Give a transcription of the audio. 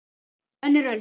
Önnur öld.